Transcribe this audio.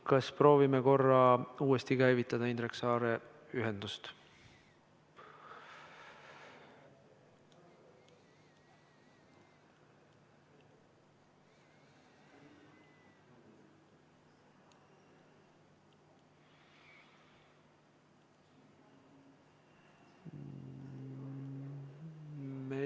Kas proovime korra uuesti käivitada Indrek Saare ühendust?